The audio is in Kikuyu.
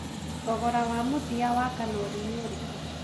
Thogora wa mũthia wa kanori nĩ ũrikũ